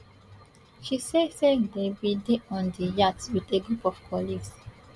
she say say dem bin dey on di yacht wit a group of colleagues